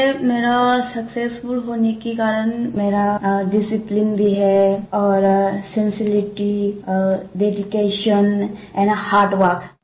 ये मेरा सक्सेसफुल होने के कारण मेरा डिसिप्लिन भी है और sincerity dedication and uh hard work